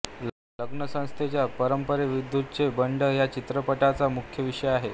लग्नसंस्थेच्या परंपरेविरुद्धचे बंड हा या चित्रपटाचा मुख्य विषय आहे